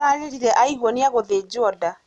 Ararĩrire aigua nĩegũthĩnjwo nda.